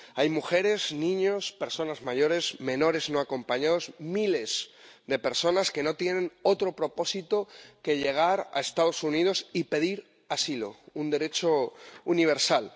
Hay mujeres, niños, personas mayores, menores no acompañados, miles de personas que no tienen otro propósito que llegar a los Estados Unidos y pedir asilo —un derecho universal—.